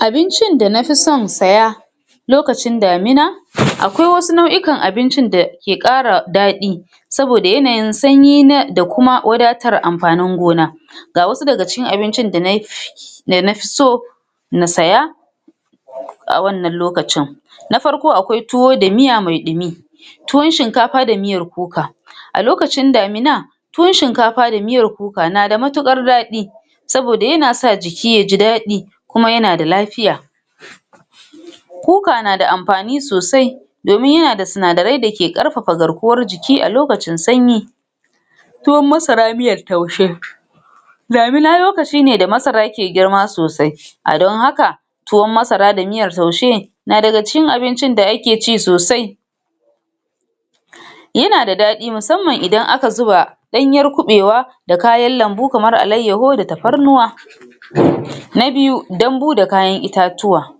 abincin da nafisan saya lokacin damina aƙwai wasu nau'ikan abincin dake ƙara daɗi saboda yanayin sanyi na da kuma wadatar amfanin gona ga wasu daga cikin abincin da nafiso na siya a wannan lokacin na farko aƙwai tuwo da miya mai ɗumi tuwan shinkafa da miyar kuka a lokacin damina tuwan shinkafa da miyar kuka na da mutuƙar daɗi saboda yanasa jiki yaji daɗi kuma yana da lafiya kuka na da amfani sosai domin yana da sinadaran dake ƙarfafa garkuwar jiki a lokacin sanyi tuwan masara miyar taushe damina lokaci ne da masarake girma sosai a don haka tuwan masara da miyar taushe na daga cikin abincin da ake ci sosai yana da da ɗ yana daɗi musamman ida aka zuba ɗanyar kuɓaiwa da kayan lanbu kamar alayyahu da tafarnuwa na biyu danbu da kayan itatuwa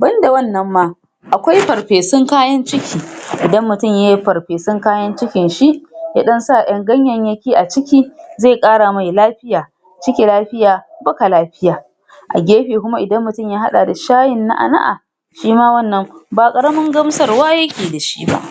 banda wannan ma aƙwai farfesun kayan ciki idan mutun yayi farfesun kayan cikin shi yaɗan sa ƴan ganyayyaki a ciki zai ƙara mai lafiya ciki lafiya baka lafiya a gefe kuma idan mutun ya haɗa da shayin na'a na'a shima wannan baƙaramin gamsarwa yake dashi ba